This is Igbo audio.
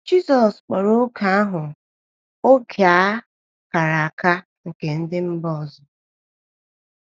Jizọs kpọrọ oge ahụ “ oge a kara aka nke ndị mba ọzọ. ”